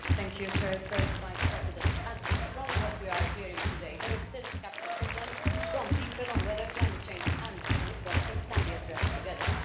Madam President, from what we are hearing today, there is still scepticism from people on whether climate change and inequalities can be addressed together.